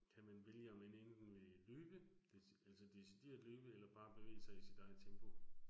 Kan man vælge om man enten vil løbe, altså decideret løbe, eller bare bevæge sig i sit eget tempo